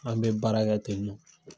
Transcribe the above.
An bɛ baara kɛ ten nɔ.